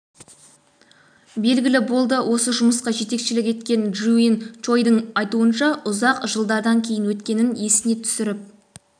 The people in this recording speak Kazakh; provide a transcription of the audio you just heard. белгілі болды осы жұмысқа жетекшілік еткен джиун чоидің айтуынша ұзақ жылдардан кейін өткенін есіне түсіріп